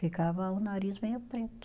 Ficava o nariz meio preto.